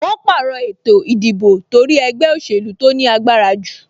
Wọn pàrọ̀ ètò ìdìbò torí ẹgbẹ́ òsèlú tó ní agbára jù